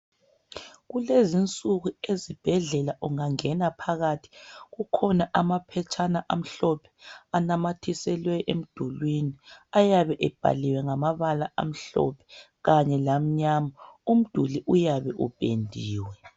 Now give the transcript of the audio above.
Kulezinsuku ezibhedlela ungangena phakathi kukhona amaphetshana amhlophe anamathiselwe emdulwini. Ayabe ebhaliwe ngamabala amhlophe kanye lamnyama. Umduli uyabe upendiwe.